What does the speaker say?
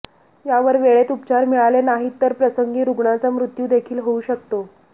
यावर वेळेत उपचार मिळाले नाहीत तर प्रसंगी रुग्णाचा मृत्यू देखील होऊ शकतो